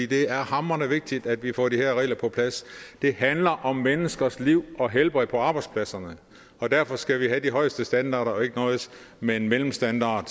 det er hamrende vigtigt at vi får de her regler på plads det handler om menneskers liv og helbred på arbejdspladserne og derfor skal vi have de højeste standarder og ikke noget med en mellemstandard